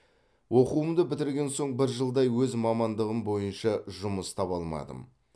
оқуымды бітірген соң бір жылдай өз мамандығым бойынша жұмыс таба алмадым